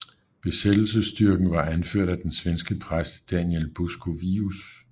Besættelsesstyrken var anført af den svenske præst Daniel Buskovius